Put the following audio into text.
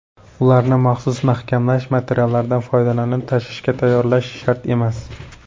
Ularni maxsus mahkamlash materiallaridan foydalanib tashishga tayyorlash shart emas.